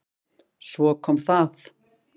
Svo kom það!